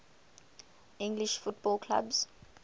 english football clubs